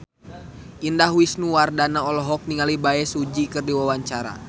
Indah Wisnuwardana olohok ningali Bae Su Ji keur diwawancara